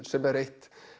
sem er eitt